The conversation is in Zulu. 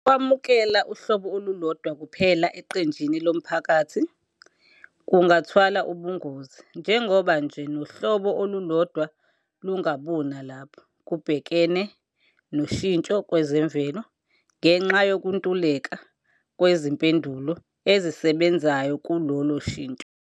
Ukwamukela uhlobo olulodwa kuphela eqenjini lomphakathi kungathwala ubungozi, njengoba nje nohlobo olulodwa lungabuna lapho kubhekene noshintsho kwezemvelo, ngenxa yokuntuleka kwezimpendulo ezisebenzayo kulolo shintsho.